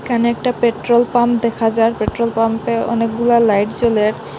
এখানে একটা petrol pump দেখা যার পেট্রোল পাম্পে অনেকগুলা লাইট জ্বলে।